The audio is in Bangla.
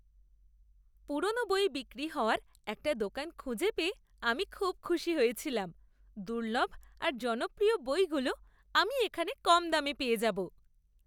পুরনো বই বিক্রি হওয়ার একটা দোকান খুঁজে পেয়ে আমি খুব খুশি হয়েছিলাম। দুর্লভ আর জনপ্রিয় বইগুলো আমি এখানে কম দামে পেয়ে যাবো।